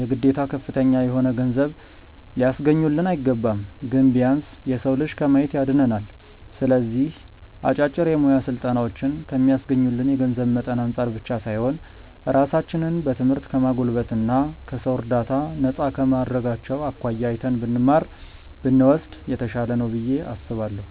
የግዴታ ከፍተኛ የሆነ ገንዘብ ሊያስገኙልን አይገባም። ግን ቢያንስ የሰው እጅ ከማየት ያድነናል። ስለዚህ አጫጭር የሙያ ስልጠናዎችን ከሚስገኙልን የገንዘብ መጠን አንፃር ብቻ ሳይሆን ራሳችንን በትምህርት ከማጎልበት እና ከሰው እርዳታ ነፃ ከማድረጋቸው አኳያ አይተን ብንማር (ብንወስድ) የተሻለ ነው ብዬ አስባለሁ።